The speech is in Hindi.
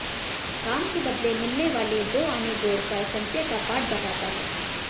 काम के बदले मिलने वाले दोआने जोड़कर संचय का पाठ बताता है